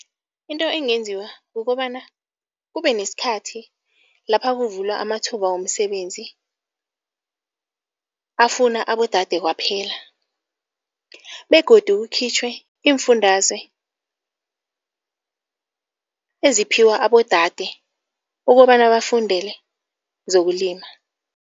Into engenziwa kukobana kube nesikhathi lapha kuvulwa amathuba womsebenzi afuna abodade kwaphela begodu kukhitjhwe iimfundazwe eziphiwa abodade ukobana bafundele zokulima.